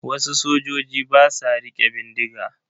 Wasu sojoji ba sa riƙe bindiga.